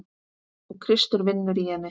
Og Kristur vinnur í henni.